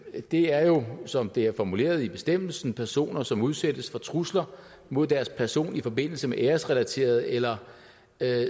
det er jo som det er formuleret i bestemmelsen personer som udsættes for trusler mod deres person i forbindelse med æresrelaterede eller